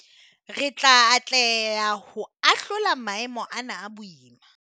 Re tla atleha ho ahlola maemo ana a boima.